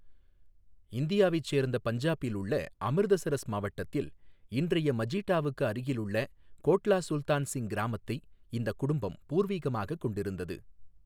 இந்தியாவைச் சேர்ந்த பஞ்சாபில் உள்ள அமிர்தசரஸ் மாவட்டத்தில், இன்றைய மஜீடாவுக்கு அருகிலுள்ள கோட்லா சுல்தான் சிங் கிராமத்தை இந்தக் குடும்பம் பூர்வீகமாகக் கொண்டிருந்தது.